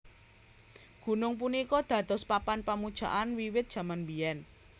Gunung punika dados papan pamujaan wiwit jaman biyén